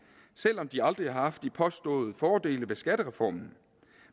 selv om de aldrig har haft de påståede fordele ved skattereformen